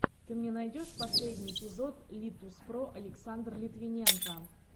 ты мне найдешь последний эпизод литуспро александр литвиненко